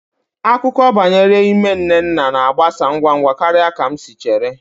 Akụkọ banyere ime nnenna na-agbasa ngwa ngwa karịa ka m chere